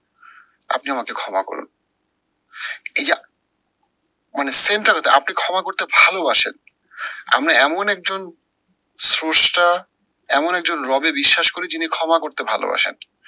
আপনি আমাকে ক্ষমা করুন। মানে টা আপনি ক্ষমা করতে ভালোবাসেন, আপনি এমন একজন স্রষ্টা এমন একজন রবে বিশ্বাস করি যিনি ক্ষমা করতে ভালোবাসেন।